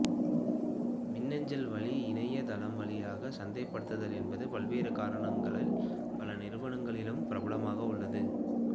மின்னஞ்சல் வழி இணைய தளம் வழியாக சந்தைப்படுத்துதல் என்பது பல்வேறு காரணங்களினால் பல நிறுவனங்களிலும் பிரபலமாக உள்ளது